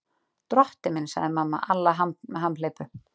Drottinn minn, sagði mamma Alla hamhleypu.